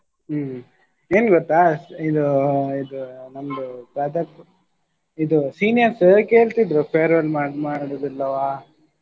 ಹ್ಮ್ ಎನ್ ಗೊತ್ತಾ ಸ್~ ಇದು ಇದು ನಮ್ದು ಇದು seniors ಕೇಳ್ತಿದ್ರು farewell ಮಾಡು~ ಮಾಡುದಿಲ್ಲವ.